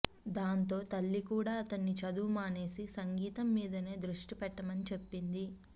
దాంతో తల్లి కూడా అతన్ని చదువు మానేసి సంగీతం మీదనే దృష్టిపెట్టమని చెప్పింది